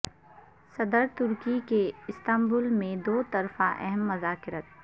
صدر ترکی کے استنبول میں دو طرفہ اہم مذاکرات